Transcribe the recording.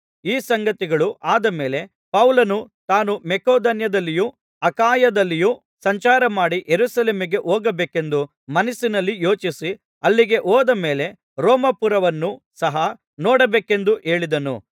ಈ ಸಂಗತಿಗಳು ಆದ ಮೇಲೆ ಪೌಲನು ತಾನು ಮಕೆದೋನ್ಯದಲ್ಲಿಯೂ ಅಖಾಯದಲ್ಲಿಯೂ ಸಂಚಾರಮಾಡಿ ಯೆರೂಸಲೇಮಿಗೆ ಹೋಗಬೇಕೆಂದು ಮನಸ್ಸಿನಲ್ಲಿ ಯೋಚಿಸಿ ಅಲ್ಲಿಗೆ ಹೋದ ಮೇಲೆ ರೋಮಾಪುರವನ್ನು ಸಹ ನೋಡಬೇಕೆಂದು ಹೇಳಿದನು